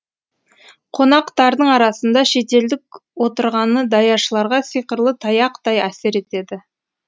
қонақтардың арасында шетелдік отырғаны даяшыларға сиқырлы таяқтай әсер етеді